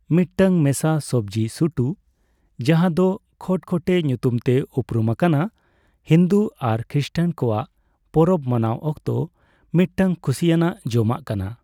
ᱢᱤᱫᱴᱟᱝ ᱢᱮᱥᱟ ᱥᱚᱵᱡᱽᱤ ᱥᱩᱴᱩ, ᱡᱟᱦᱟᱸ ᱫᱚ ᱠᱷᱚᱴᱠᱷᱚᱴᱮᱹ ᱧᱩᱛᱩᱢ ᱛᱮ ᱩᱯᱨᱩᱢ ᱟᱠᱟᱱᱟ, ᱦᱤᱱᱫᱩ ᱟᱨ ᱠᱷᱨᱤᱥᱴᱟᱱ ᱠᱚᱣᱟᱜ ᱯᱚᱨᱚᱵᱽ ᱢᱟᱱᱟᱣ ᱚᱠᱛᱚ ᱢᱤᱫᱴᱟᱝ ᱠᱷᱩᱥᱤᱭᱟᱱᱟᱜ ᱡᱚᱢᱟᱜ ᱠᱟᱱᱟ ᱾